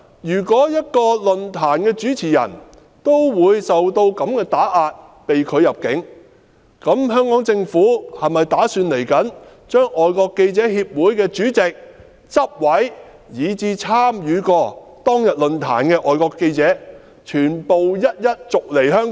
如果一個論壇的主持人也會受如此打壓，被拒入境，香港政府是否打算將外國記者會的主席、執委，以及參與過當日論壇的外國記者全部一一逐離香港？